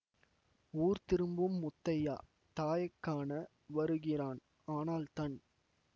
ஊர் திரும்பும் முத்தையா தாயைக்காண வருகிறான் ஆனால் தன்